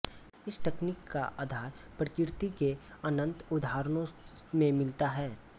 इस तकनीक का आधार प्रकृति के अनन्त उदाहरणों में मिलता है